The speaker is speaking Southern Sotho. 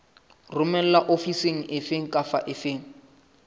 romelwa ofising efe kapa efe